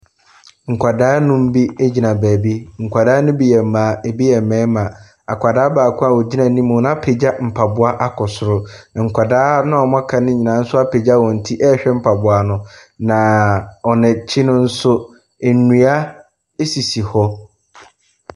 Nkwadaa nnum bi gyina beebi . Nkwadaa ne bi yɛ mmaa, ɛbi yɛ mmarima. Akwadaa baako a ogyina anim apagya mpaboa wɔ soro, na nkwadaa aka no apagya wɔn tiɛrehwɛ mpaboa no. Na wɔn akyi no nso, nnua sisi hɔ.